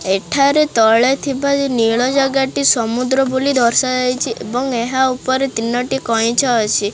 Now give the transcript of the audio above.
ଏଠାରେ ତଳେ ଥିବା ଯୋଉ ନୀଳ ଜାଗା ଟି ସମୁଦ୍ର ବୋଲି ଦର୍ଶା ଯାଇଚି ଏବଂ ଏହା ଉପରେ ତିନୋଟି କଇଁଛ ଅଛି।